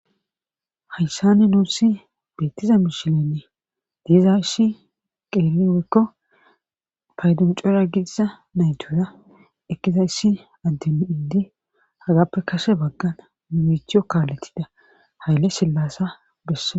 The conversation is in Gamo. hayssani nuussi beettiza mishilenne diiza issi qeeriwekko payduncura gidiza naytuura ekkiza issi addem iddi hagappe kase baggan mimichiyo kaaletida hayle sillasa bessaa